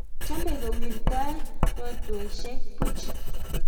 chomei kowirtoi rotwesiek puch